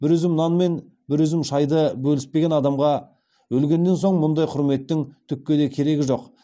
бір үзім нан мен бір үзім шайды бөліспеген адамға өлгеннен соң мұндай құрметтің түкке де керегі жоқ